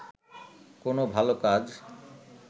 কোন ভাল কাজ